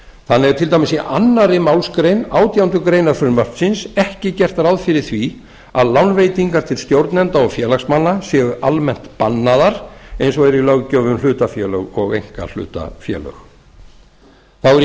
þannig er til dæmis í annarri málsgrein átjándu grein frumvarpsins ekki gert ráð fyrir að lánveitingar til stjórnenda eða félagsmanna séu almennt bannaðar eins og er í löggjöf um hlutafélög og einkahlutafélög þá er í